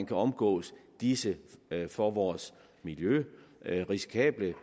kan omgås disse for vores miljø risikable